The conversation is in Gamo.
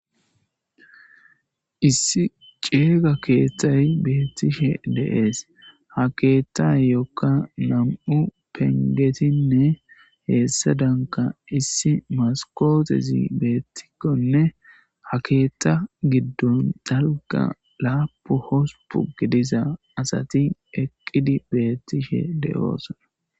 Issi ciima keethay beettishe de7ees ha keethayokka nam7u penggetinne hessaadankka issi maskootezi beettikonne ha keetha giddon dalgga laapu hospu giddiza asati eqqidi beettishe de7osona